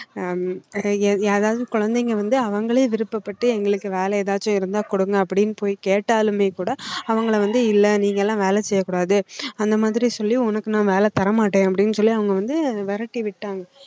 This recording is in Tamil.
ஹம் யாராவது குழந்தைங்க வந்து அவங்களே விருப்பப்பட்டு எங்களுக்கு வேலை ஏதாச்சும் இருந்தா கொடுங்க அப்படின்னு போய் கேட்டாலுமே கூட அவங்களை வந்து இல்லை நீங்க எல்லாம் வேலை செய்யக்கூடாது அந்த மாதிரி சொல்லி உனக்கு நான் வேலை தரமாட்டேன் அப்படின்னு சொல்லி அவங்க வந்து விரட்டிவிட்டாங்க